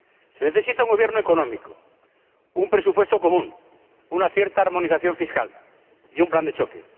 Se necesita un gobierno económico, un presupuesto común, una cierta armonización fiscal y un plan de choque.